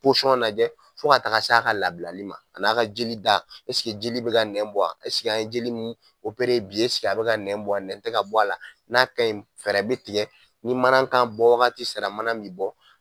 posɔn lajɛ fo ka taa se a ka labilali ma a n'a ka jeli da ɛsigi jeli be ka nɛn bɔ a ɛsig'an ye jeli min opere bi esigi a be ka nɛn bɔ a nɛn te ka bɔ a la n'a kaɲi fɛɛrɛ be tigɛ ni manankan bɔ wagati sera manan min bɔ